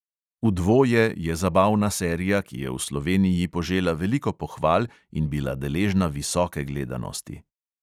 "V dvoje" je zabavna serija, ki je v sloveniji požela veliko pohval in bila deležna visoke gledanosti.